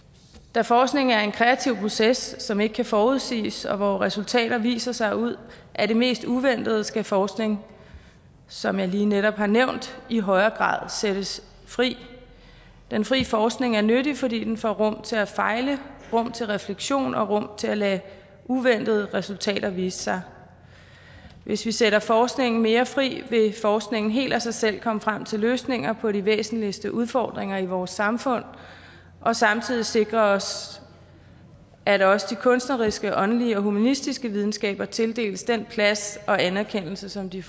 da forskning er en kreativ proces som ikke kan forudsiges og hvor resultater viser sig ud af det mest uventede skal forskning som jeg lige netop har nævnt i højere grad sættes fri den frie forskning er nyttig fordi den får rum til at fejle rum til refleksion og rum til at lade uventede resultater vise sig hvis vi sætter forskningen mere fri vil forskningen helt af sig selv komme frem til løsninger på de væsentligste udfordringer i vores samfund og samtidig sikre os at også de kunstneriske åndelige og humanistiske videnskaber tildeles den plads og anerkendelse som de